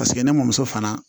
Paseke ne muso fana